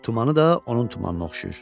Tumanı da onun tumanına oxşayır.